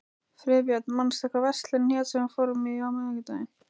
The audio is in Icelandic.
Friðbjörn, manstu hvað verslunin hét sem við fórum í á miðvikudaginn?